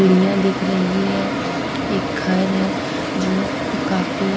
सीढ़ियाँ दिख रही हैं एक घर है जो काफी--